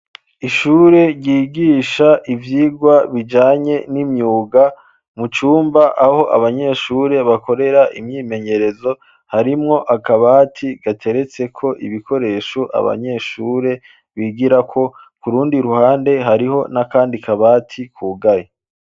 Ishure ryigisha ivyigwa, bijanye n'imyuga, mu cumba, aho abanyeshure, bakorera imyimenyerezo, harimwo akabati gateretseko ibikoresho, abanyeshure bigirako, ku rundi ruhande, hariho n'akandi kabati, kugaye.